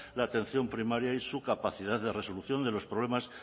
la atención primaria y su capacidad de resolución de los problemas